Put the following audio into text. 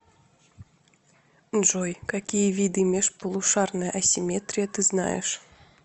джой какие виды межполушарная асимметрия ты знаешь